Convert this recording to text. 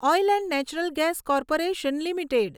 oil and natural gas corporation limited